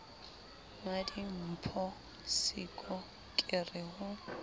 mmadimpho siko ke re ho